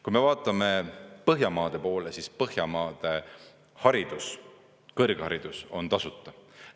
Kui me vaatame Põhjamaade poole, siis Põhjamaade haridus, kõrgharidus on tasuta.